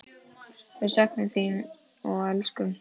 Við söknum þín og elskum.